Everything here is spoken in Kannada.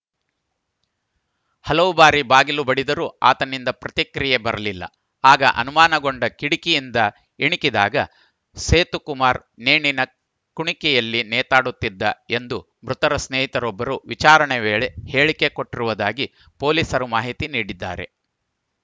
ಹಲವು ಬಾರಿ ಬಾಗಿಲು ಬಡಿದರೂ ಆತನಿಂದ ಪ್ರತಿಕ್ರಿಯೆ ಬರಲಿಲ್ಲ ಆಗ ಅನುಮಾನಗೊಂಡ ಕಿಟಕಿಯಿಂದ ಇಣುಕಿದಾಗ ಸೇತುಕುಮಾರ್‌ ನೇಣಿನ ಕುಣಿಕೆಯಲ್ಲಿ ನೇತಾಡುತ್ತಿದ್ದ ಎಂದು ಮೃತರ ಸ್ನೇಹಿತರೊಬ್ಬರು ವಿಚಾರಣೆ ವೇಳೆ ಹೇಳಿಕೆ ಕೊಟ್ಟಿರುವುದಾಗಿ ಪೊಲೀಸರು ಮಾಹಿತಿ ನೀಡಿದ್ದಾರೆ